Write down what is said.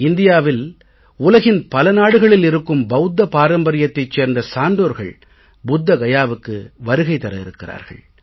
இந்தியாவில் உலகின் பல நாடுகளில் இருக்கும் பௌத்த பாரம்பரியத்தைச் சேர்ந்த சான்றோர்கள் புத்த கயாவுக்கு வருகை தர இருக்கிறார்கள்